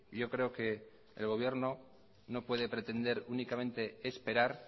yo creo que el gobierno no puede pretender únicamente esperar